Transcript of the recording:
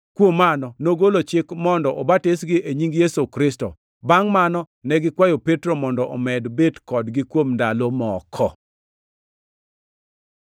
Kuom mano, nogolo chik mondo obatisgi e nying Yesu Kristo. Bangʼ mano ne gikwayo Petro mondo omed bet kodgi kuom ndalo moko.